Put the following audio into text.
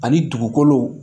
Ani dugukolo